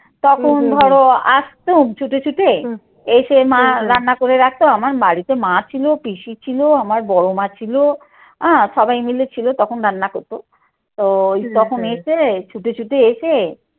তখন ধরো আস্তু ছুটে ছুটে এসে মা রান্না করে রাখাতো, আমার বাড়িতে মা ছিল, পিসি ছিল, আমার বড় মা ছিল হ্যাঁ সবাই মিলে ছিল তখন রান্না করতো। তো তখন এসে ছুটে ছুটে এসে